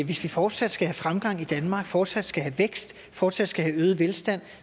hvis vi fortsat skal have fremgang i danmark fortsat skal have vækst fortsat skal have øget velstand